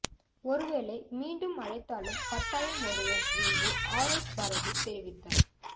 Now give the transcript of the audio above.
ஒருவேளை மீண்டும் அழைத்தாலும் கட்டாயம் வருவோம் என்று ஆர் எஸ் பாரதி தெரிவித்தார்